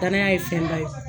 Danaya ye fɛn ba ye.